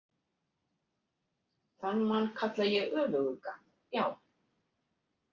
Þann mann kalla ég öfugugga, já.